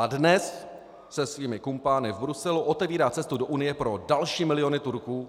A dnes se svými kumpány v Bruselu otevírá cestu do Unie pro další miliony Turků